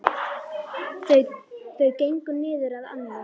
Þau gengu niður að ánni.